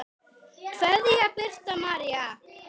Kveðja, Birta María.